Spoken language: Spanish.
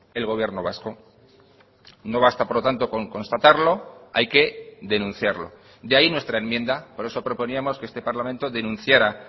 el gobierno vasco no basta por lo tanto con constatarlo hay que denunciarlo de ahí nuestra enmienda por eso proponíamos que este parlamento denunciara